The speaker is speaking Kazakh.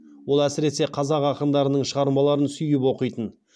ол әсіресе қазақ ақындарының шығармаларын сүйіп оқитын